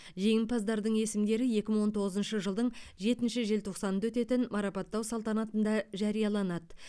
жеңімпаздардың есімдері екі мың он тоғызыншы жылдың жетінші желтоқсанында өтетін марапаттау салтанатында жарияланады